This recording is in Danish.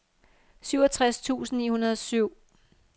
syvogtres tusind ni hundrede og syv